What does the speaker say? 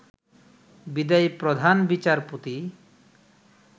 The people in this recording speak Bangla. বিদায়ী প্রধান বিচারপতি